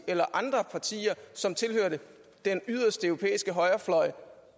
eller andre partier som tilhørte den yderste europæiske højrefløj